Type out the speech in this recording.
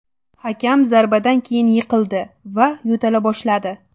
Hakam zarbadan keyin yiqildi va yo‘tala boshladi.